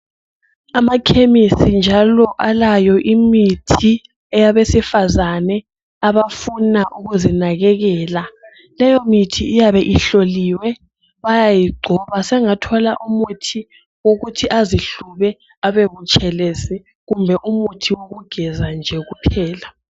Amakhemisi njalo alayo imithi eyabesifazane abafuna ukuzinakekela. Leyomithi iyabe ihloliwe bayayigcoba. Sengathola umuthi wokuthi azihlube abebutshelezi kumbe umuthi wokugeza nje kuphela.